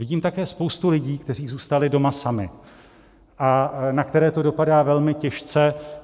Vidím také spoustu lidí, kteří zůstali doma sami a na které to dopadá velmi těžce.